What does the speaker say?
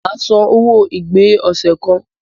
Màá san owo ìgbé ọ̀sẹ̀ kan.